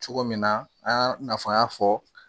Cogo min na an y'a fɔ an y'a fɔ